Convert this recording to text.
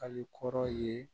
Hali kɔrɔ ye